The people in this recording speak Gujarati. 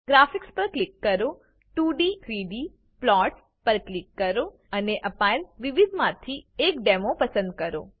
ગ્રાફિક્સ પર ક્લિક કરો 2d 3d પ્લોટ્સ પર ક્લિક કરો અને આપાયેલ વિવિધમાંથી એક ડેમો પસંદ કરો